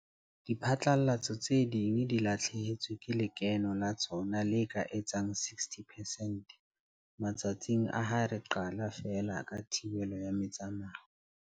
Diphatlalatso tse ding di lahlehetswe ke lekeno la tsona le ka etsang 60 percent matsatsing a ha re qala feela ka thibelo ya metsamao.